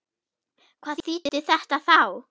Hvað þýddi þetta þá?